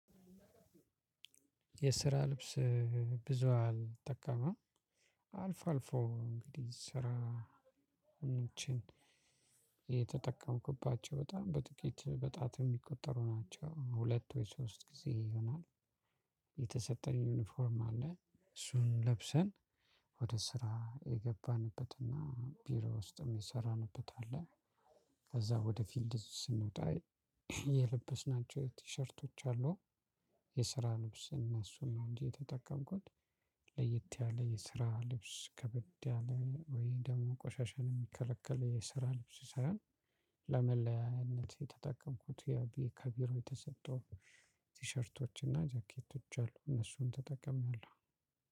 የስራ ልብስ ብዙ አልጠቀመም። አልፎ አልፎ እንግዲህ ስራ እንችል። የተጠቀምኩባቸው በጣም በጥቂት በጣት የሚቆጠሩ ናቸው ሁለት ወይ ሶስት ጊዜ ይሆናል። የተሰጠን ዩኒፎርም አለ እሱን ለብሰን ወደ ስራ የገባንበትና ቢሮ ውስጥም የሰራንበት አለ። ከዛ ወደ ፊልድ ስንወጣ የለበስናቸው ቲሸርቶች አሉ። የስራ ልብስ እነሱን ነው እንጂ የተጠቀምኩት። ለየት ያለ የስራ ልብስ ከበድ ያለ ወይ ደግሞ ቆሻሻን የሚከለከል የስራ ልብስ ሳይሆን። ለመለያያነት የተጠቀምኩት ከቢሮ የተሰጠውን ቲሸርቶችና ጃኬቶች አሉ እነሱን ተጠቅሜያለሁ።